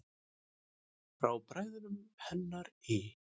Frá bræðrum hennar í